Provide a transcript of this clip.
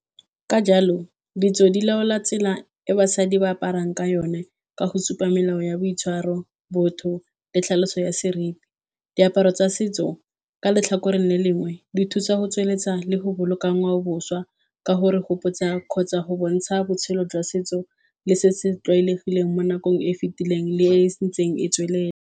Ka jalo, ditso di laola tsela e basadi ba aparang ka yone ka go supa melao ya boitshwaro, botho le tlhaloso ya seriti. Diaparo tsa setso ka letlhakoreng le lengwe, di thusa go tsweletsa le go boloka ngwaoboswa ka go re gopotsa kgotsa go bontsha botshelo jwa setso le se se tlwaelegileng mo nakong e e fitileng le e sentsweng e tswelela.